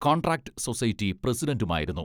Contract society പ്രസിഡന്റുമായിരുന്നു.